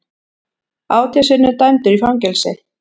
Átján sinnum dæmdur í fangelsi